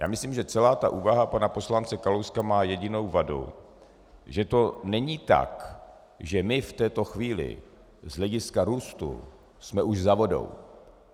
Já myslím, že celá ta úvaha pana poslance Kalouska má jedinou vadu - že to není tak, že my v této chvíli z hlediska růstu jsme už za vodou.